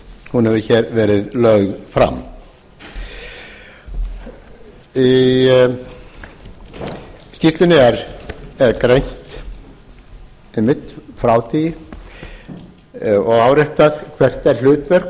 hún hefur hér verið lögð fram í skýrslunni er greint einmitt frá því og áréttað hvert er hlutverk